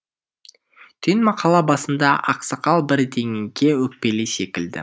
түйін мақала басында ақсақал бірдеңеге өкпелі секілді